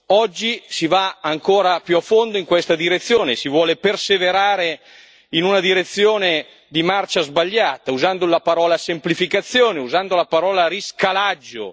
Oggi si va ancora più a fondo in questa direzione e si vuole perseverare in una direzione di marcia sbagliata, usando la parola semplificazione, usando la parola riscalaggio.